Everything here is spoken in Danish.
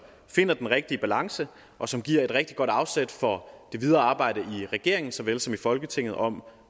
finder den rigtige balance og som giver et rigtig godt afsæt for det videre arbejde i regeringen såvel som i folketinget om